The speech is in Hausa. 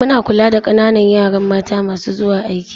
Muna kula da ƙananan yaran mata masu zuwa aiki.